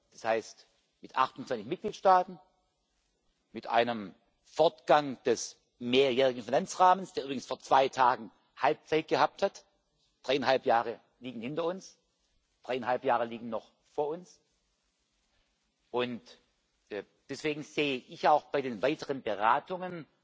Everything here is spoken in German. Das heißt, mit 28 Mitgliedstaaten, mit einem Fortgang des mehrjährigen Finanzrahmens, der übrigens vor zwei Tagen Halbzeit gehabt hat dreieinhalb Jahre liegen hinter uns, dreieinhalb Jahre liegen noch vor uns. Und deswegen sehe ich auch bei den weiteren Beratungen